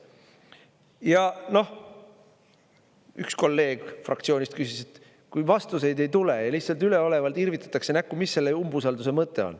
Ja noh, üks kolleeg fraktsioonist küsis, et kui vastuseid ei tule, lihtsalt üleolevalt irvitatakse näkku, mis selle umbusaldus mõte on.